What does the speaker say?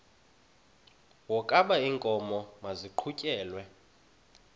wokaba iinkomo maziqhutyelwe